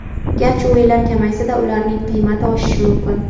Garchi o‘yinlar kamaysa-da, ularning qiymati oshishi mumkin.